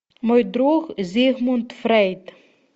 мой друг зигмунд фрейд